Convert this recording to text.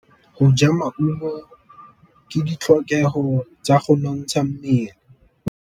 Go ja maungo ke ditlhokegô tsa go nontsha mmele.